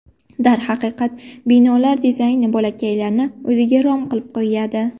Darhaqiqat, binolar dizayni bolakaylarni o‘ziga rom qilib qo‘yadi.